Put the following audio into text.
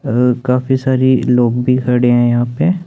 अह काफी सारी लोग भी खड़े हैं यहां पे।